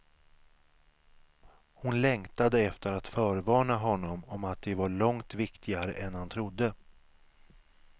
Hon längtade efter att förvarna honom om att de var långt viktigare än han trodde.